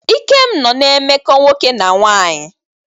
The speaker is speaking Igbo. Ikem nọ na-emekọ nwoke na nwanyị.